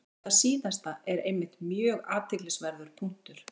Þetta síðasta er einmitt mjög athyglisverður punktur.